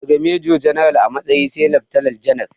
Daga mejo janar a matsayi sai laftanal janar